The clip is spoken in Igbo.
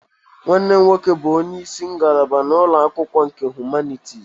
Nwanne m nwoke bụ onye isi ngalaba na ụlọ akwụkwọ nke Humanities